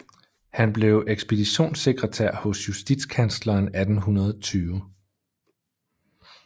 Han blev ekspeditionssekretær hos justitskansleren 1820